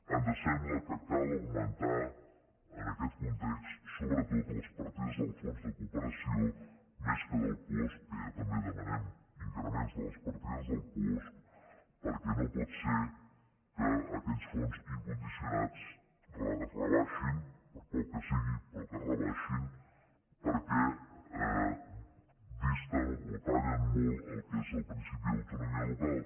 ens sembla que cal augmentar en aquest context sobretot les partides del fons de cooperació més que del puosc que ja també demanem increments de les partides del puosc perquè no pot ser que aquells fons incondicionats es rebaixin per poc que sigui però que es rebaixin perquè disten o tallen molt el que és el principi d’autonomia local